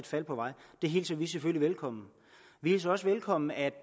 fald på vej det hilser vi selvfølgelig velkommen vi hilser også velkommen at